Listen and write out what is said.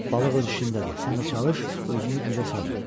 Balıq öz işindədir, sən də çalış özünü gücə salma.